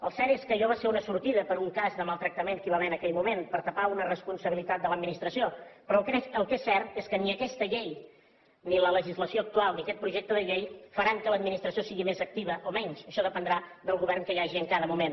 el cert és que allò va ser una sortida per un cas de maltractament que hi va haver en aquell moment per tapar una responsabilitat de l’administració però el que és cert és que ni aquesta llei ni la legislació actual ni aquest projecte de llei faran que l’administració sigui més activa o menys això dependrà del govern que hi hagi en cada moment